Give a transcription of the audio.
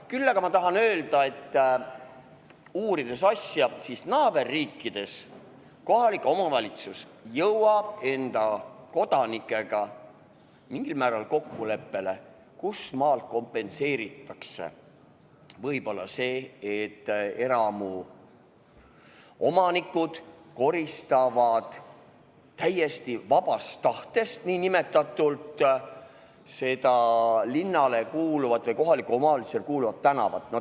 Küll aga tahan ma asja uurinuna öelda, et naaberriikides kohalik omavalitsus jõuab enda kodanikega mingil määral kokkuleppele, kust maalt kompenseeritakse see, et eramuomanikud koristavad täiesti vabast tahtest linnale kuuluvat või kohalikule omavalitsusele kuuluvat tänavat.